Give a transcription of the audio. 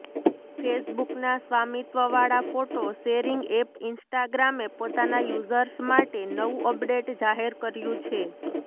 ફેસબુકના સ્વામિત્વવાળા photo sharing app ઈન્સ્ટાગ્રામે પોતાના યુઝર્સ માટે નવું અપડેટ જાહેર કર્યું છે